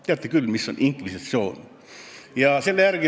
Teate küll, mis on inkvisitsioon.